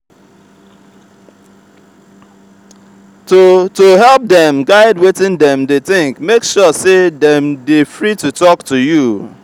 to to help dem guide wetin dem de think make sure say dem de free to talk to you